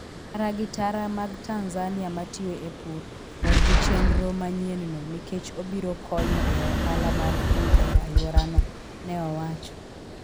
Ji tara gi tara mag Tanzania matiyo e pur, mor gi chenro manyienno nikech obiro konyo e ohala mar pur e alworano, ne owacho.